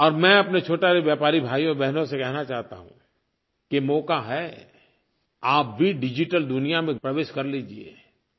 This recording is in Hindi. और मैं अपने छोटे व्यापारी भाइयोबहनों से कहना चाहता हूँ कि मौका है आप भी डिजिटल दुनिया में प्रवेश कर लीजिए